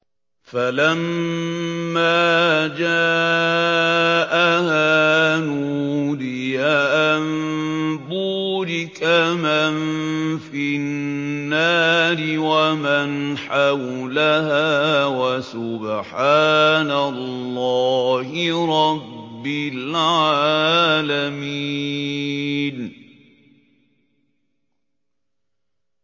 فَلَمَّا جَاءَهَا نُودِيَ أَن بُورِكَ مَن فِي النَّارِ وَمَنْ حَوْلَهَا وَسُبْحَانَ اللَّهِ رَبِّ الْعَالَمِينَ